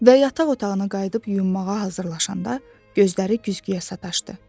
Və yataq otağına qayıdıb yuyunmağa hazırlaşanda gözləri güzgüyə sataşdı.